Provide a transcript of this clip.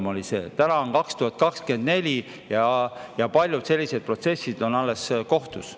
Nüüd on käes aasta 2024 ja paljud sellised protsessid on alles kohtus.